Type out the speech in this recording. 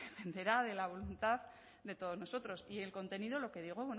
dependerá de la voluntad de todos nosotros y el contenido lo que digo